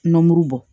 Nɔnɔ mugu bɔ